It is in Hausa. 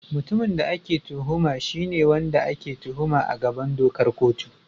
Mutumin da ake tuhuma shi ne wanda ake tuhuma a gaban dokar kotu.